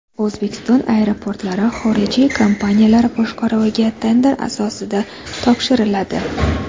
O‘zbekiston aeroportlari xorijiy kompaniyalar boshqaruviga tender asosida topshiriladi.